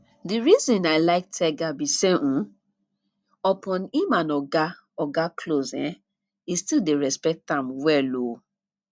the reason i like tega be say um upon im and oga and oga close um e still dey respect am well um